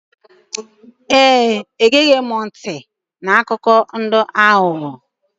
Ee, egeghị m ntị n'akụkọ ndị aghụghọ.